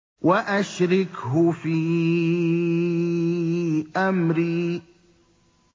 وَأَشْرِكْهُ فِي أَمْرِي